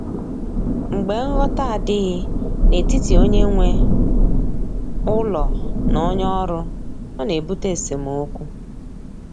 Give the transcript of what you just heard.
Mgbe nghọta adịghị n’etiti onye nwe ụlọ na onye ọrụ, ọ na-ebute esemokwu.